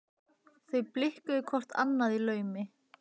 Þau blikkuðu hvort annað í laumi.